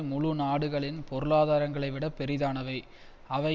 முழுநாடுகளின் பொருளாதாரங்களை விட பெரிதானவை அவை